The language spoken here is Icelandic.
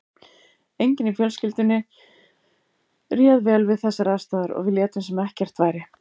Enginn í fjölskyldunni réð vel við þessar aðstæður og við létum sem ekkert væri.